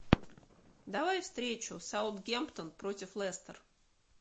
давай встречу саутгемптон против лестер